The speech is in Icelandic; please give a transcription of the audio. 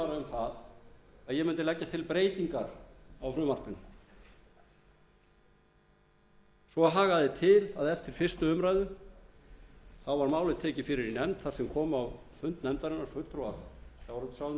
að ég mundi leggja til breytingar á frumvarpinu svo hagaði til að eftir fyrstu umræðu var málið tekið fyrir í nefnd þar sem kom á fund nefndarinnar fulltrúar sjávarútvegsráðuneytisins